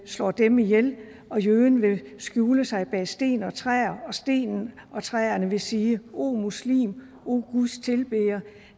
slår dem ihjel og jøden vil skjule sig bag sten og træer og stenen og træerne vil sige o muslim o guds tilbeder